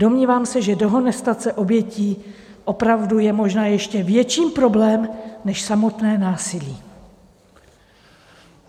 Domnívám se, že dehonestace obětí opravdu je možná ještě větší problém než samotné násilí.